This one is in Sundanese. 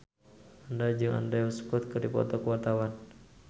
Mandra jeung Andrew Scott keur dipoto ku wartawan